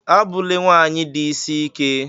Abụlé nwanyị di isi ike!